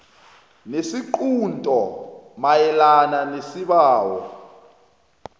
ngesiqunto mayelana nesibawo